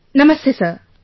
Namastey, Sir